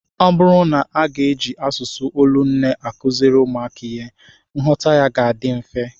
Ọ bụrụ na a ga-eji asụsụ olu nne akụziri ụmụaka ihe, nghọta ya ga-adị mfe